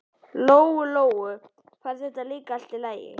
Lóu-Lóu fannst það líka allt í lagi.